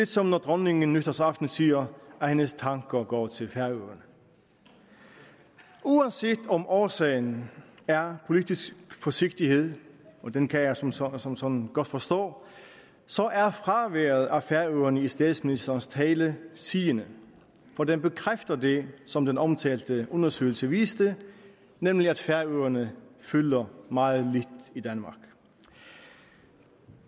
som når dronningen nytårsaften siger at hendes tanker går til færøerne uanset om årsagen er politisk forsigtighed og den kan jeg som sådan som sådan godt forstå så er fraværet af færøerne i statsministerens tale sigende for det bekræfter det som den omtalte undersøgelse viste nemlig at færøerne fylder meget lidt i danmark